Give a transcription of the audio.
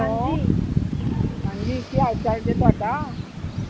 ਹਾਂਜੀ ਕੀ ਹਾਲ ਚਾਲ ਜੇ ਤੁਹਾਡਾ